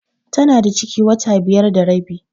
Tana da ciki wata biyar da rabi.